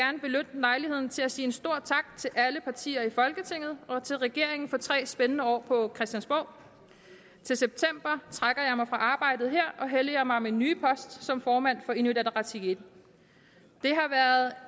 lejligheden til at sige en stor tak til alle partier i folketinget og til regeringen for tre spændende år på christiansborg til september trækker jeg mig fra arbejdet her og helliger mig min nye post som formand for inuit ataqatigiit